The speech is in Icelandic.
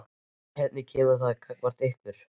Hvernig kemur það fram gagnvart ykkur?